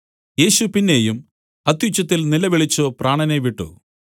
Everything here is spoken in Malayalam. യേശു പിന്നെയും അത്യുച്ചത്തിൽ നിലവിളിച്ചു പ്രാണനെ വിട്ടു